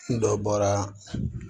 N dɔ bɔra